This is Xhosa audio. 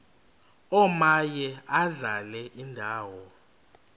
omaye adlale indawo